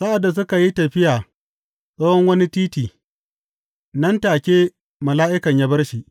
Sa’ad da suka yi tafiya tsawon wani titi, nan take mala’ikan ya bar shi.